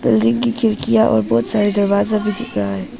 Building की खिड़कियां और बहोत सारे दरवाजा भी दिख रहा है।